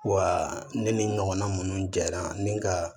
Wa ne ni ɲɔgɔnna minnu jara ni ka